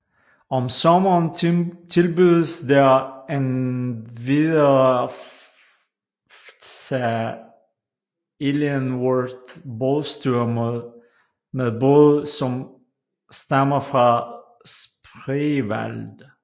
Om sommeren tilbydes der endvidere fta Ihlienworth bådsture med både som stammer fra Spreewald